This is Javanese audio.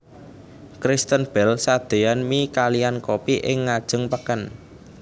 Kristen Bell sadeyan mie kaliyan kopi ing ngajeng peken